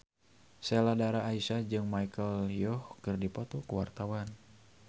Sheila Dara Aisha jeung Michelle Yeoh keur dipoto ku wartawan